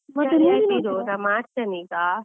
ನಾ ಮಾಡ್ತೇನೆ ಈಗ.